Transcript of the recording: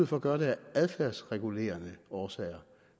for at gøre det af adfærdsregulerende årsager